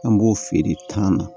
An b'o feere tan na